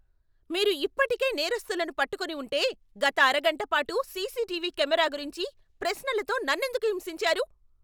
మీరు ఇప్పటికే నేరస్థులను పట్టుకొని ఉంటే, గత అరగంట పాటు సీసీటీవీ కెమెరా గురించి ప్రశ్నలతో నన్నెందుకు హింసించారు?